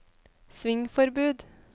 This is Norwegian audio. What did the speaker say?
svingforbud